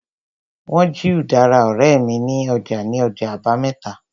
Wọ́n jí udara ọ̀rẹ́ mi ní ọjà ní ọjọ́ àbámẹ́ta